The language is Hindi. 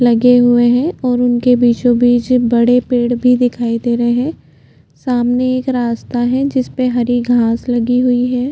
लगे हुए है और उनके बिचो बीच बड़े पेड भी दिखाई दे रहै है सामने एक रास्ता है जिसपे हरी घास लगी हुई है।